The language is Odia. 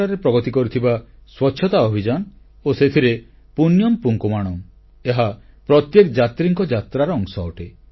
ସବରୀମାଲାରେ ଏତେମାତ୍ରାରେ ପ୍ରଗତି କରିଥିବା ସ୍ୱଚ୍ଛତା ଅଭିଯାନ ଓ ସେଥିରେ ପୁଣ୍ୟମ୍ ପୁଙ୍କାୱାଣମ୍ ର ଅବଦାନ ଏହା ପ୍ରତ୍ୟେକ ଯାତ୍ରୀଙ୍କ ଯାତ୍ରାର ଅଂଶ ଅଟେ